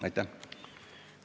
Aitäh!